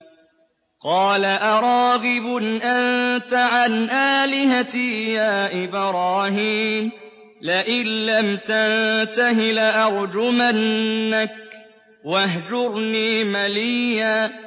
قَالَ أَرَاغِبٌ أَنتَ عَنْ آلِهَتِي يَا إِبْرَاهِيمُ ۖ لَئِن لَّمْ تَنتَهِ لَأَرْجُمَنَّكَ ۖ وَاهْجُرْنِي مَلِيًّا